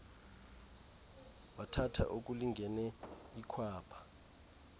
wathatha okulingene ikhwapha